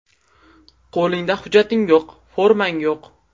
Qo‘lingda hujjating yo‘q, formang yo‘q.